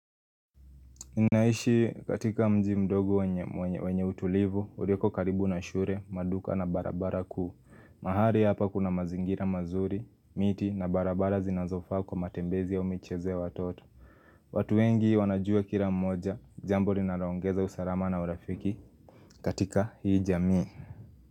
Ninaishi katika mji mdogo wenye utulivu, urioko karibu na shure, maduka na barabara kuu. Mahari hapa kuna mazingira mazuri, miti na barabara zinazofaa kwa matembezi au michezo ya watoto. Watu wengi wanajua kila mmoja, jambo li naroongeza usalama na urafiki katika hii jamii.